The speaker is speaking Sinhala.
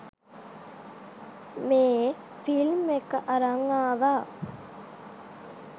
මේ ෆිල්ම් එක අරන් ආවා.